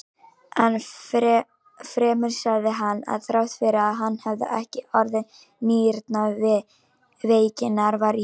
Enn fremur sagði hann, að þrátt fyrir að hann hefði ekki orðið nýrnaveikinnar var í